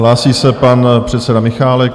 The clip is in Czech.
Hlásí se pan předseda Michálek.